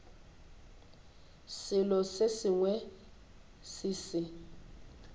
selo se sengwe se se